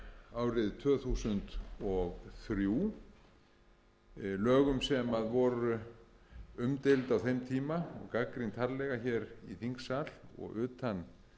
árið tvö þúsund og þremur lögum sem voru umdeild á þeim tíma og gagnrýnd harðlega hér í þingsal og utan